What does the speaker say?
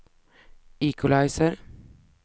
equalizer